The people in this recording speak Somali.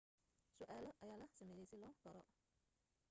su'aalo ayaa la sameeyey si loo baaro